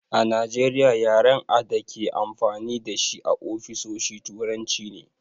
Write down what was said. A Najeriya yaren a dake amfani dashi a ofisoshi turanci ne